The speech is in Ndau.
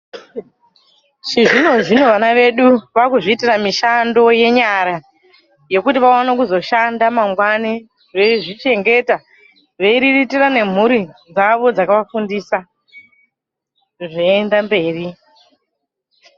Chizvino zvino vana vedu vaakuzviitira mishando yenyara yekuti vaone kuzoshanda mangwani veizvichengeta , veiriritira nemhuri dzavo dzakavafundisa , zveienda mberi .